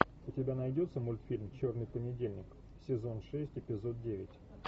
у тебя найдется мультфильм черный понедельник сезон шесть эпизод девять